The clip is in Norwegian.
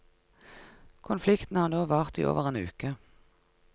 Konflikten har nå vart i over en uke.